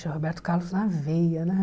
Puxa, Roberto Carlos na veia, né?